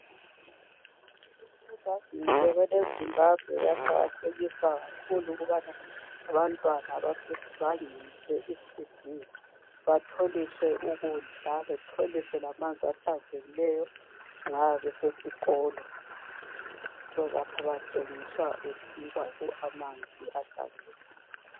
I government yeZimbabwe iyaqakathekisa kakhulu abantwana abasebangeni leEcd batholiswe ukudla batholiswe lamanzi ahlanzekileyo nxa besesikolo lapha kutshengiswa amanzi ahlanzekileyo.